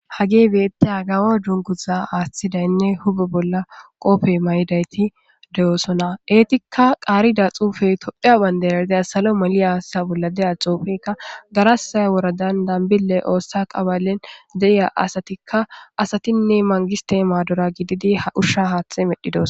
Hagey beettiza kawey dunguza aaththidaynne huphe bolla mayidayti de7osona Eetikka qaarida xuufey tophphiya bandira salo maliyasa bolla geresse woradan dambille ooththa qabalen de7iya asatikka ,asatinne ha mangistte maadora gididi ushsha haaththe medhdhidos.